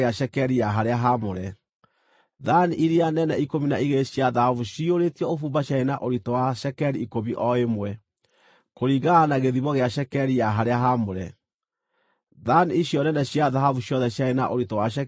Thaani iria nene ikũmi na igĩrĩ cia thahabu ciyũrĩtio ũbumba ciarĩ na ũritũ wa cekeri ikũmi o ĩmwe, kũringana na gĩthimo gĩa cekeri ya harĩa haamũre. Thaani icio nene cia thahabu ciothe ciarĩ na ũritũ wa cekeri igana rĩa mĩrongo ĩĩrĩ.